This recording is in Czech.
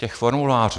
Těch formulářů!